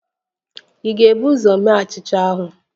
Ị ga-ebu ụzọ mee achịcha ahụ?